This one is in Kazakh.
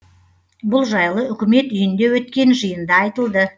бұл жайлы үкімет үйінде өткен жиында айтылды